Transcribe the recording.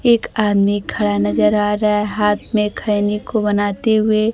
एक आदमी खड़ा नजर आ रहा है हाथ में खैनी को बनाते हुए।